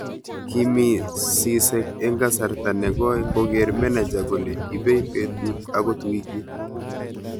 kimi sisek eng kasarta nekooi kogeer meneja kole ibei betut akot wikit